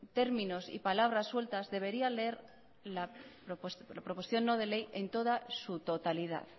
términos y palabra sueltas debería leer la proposición no de ley en toda su totalidad